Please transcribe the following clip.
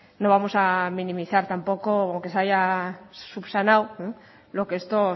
no vamos a minimizar tampoco que se haya subsanado lo que esto